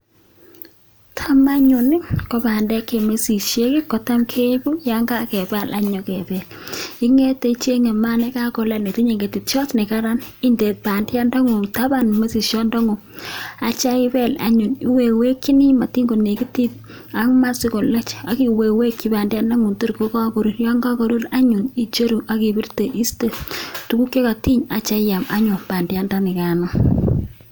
Tam anyun ko bandek che misisiek kotam yon kakepaal anyum kepel, ingete ichenge maat nekakolaal netinye ngetetyot ne karan inde bandianda ngung taban misisiondongung atya ipeel anyun, iwekwekchini matin konekitit ak maa sikolach ak iweiwekchi bandiandangung tor kakoruur, yon kakoruur anyun icheru ak kipirte iiste tuguk chekatiny anityo inemu anyun bandianikan.